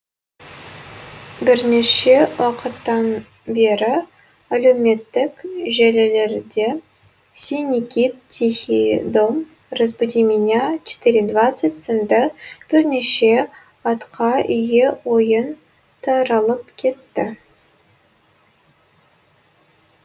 бірнеше уақыттан бері әлеуметтік желілерде синий кит тихий дом разбуди меня в четыре двадцать сынды бірнеше атқа ие ойын таралып кетті